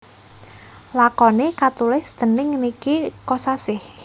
Lakoné katulis dèning Niki Kosasih